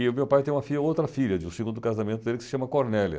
E o meu pai tem uma filha, outra filha, de um segundo casamento dele, que se chama Cornélia.